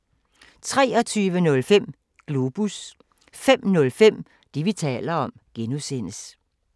23:05: Globus 05:05: Det, vi taler om (G)